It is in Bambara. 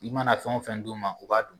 I mana fɛn o fɛn d'u ma u b'a dun